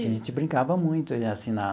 A gente brincava muito assim na.